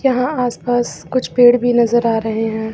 यहां आसपास कुछ पेड़ भी नजर आ रहे हैं।